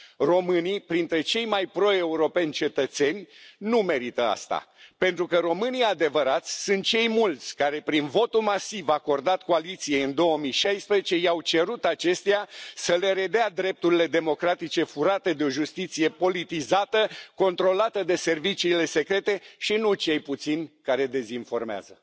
Românii, printre cei mai pro europeni cetățeni, nu merită asta, pentru că românii adevărați sunt cei mulți, care prin votul masiv acordat coaliției în 2016 i au cerut acesteia să le redea drepturile democratice furate de o justiție politizată, controlată de serviciile secrete, și nu cei puțini care dezinformează.